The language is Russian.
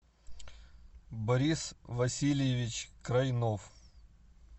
борис васильевич крайнов